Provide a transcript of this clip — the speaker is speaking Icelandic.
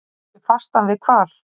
Saug sig fasta við hval